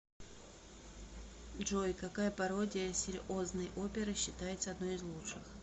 джой какая пародия серьозной оперы считается одной из лучших